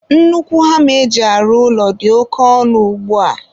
nnukwu hama eji arụ ụlọ dị oke ọnụ ugbua.